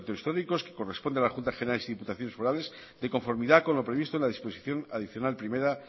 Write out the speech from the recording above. históricos que corresponde a las juntas generales y diputaciones forales de conformidad con lo previsto en la disposición adicional primera